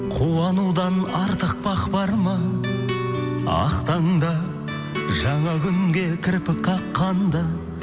қуанудан артық бақ бар ма ақ таңдаңда жаңа күнге кірпік қаққанда